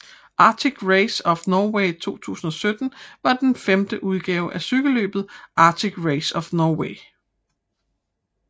Arctic Race of Norway 2017 var den femte udgave af cykelløbet Arctic Race of Norway